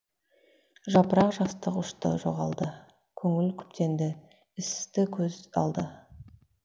жапырақ жастық ұшты жоғалды көңіл күптенді істі көз алды